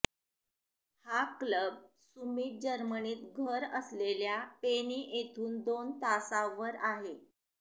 हा क्लब सुमीत जर्मनीत घर असलेल्या पेनी येथून दोन तासांवर आहे